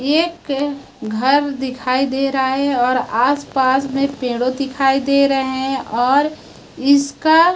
एक घर दिखाई दे रहा है और आस पास में पेड़ो दिखाई दे रहे हैं और इसका--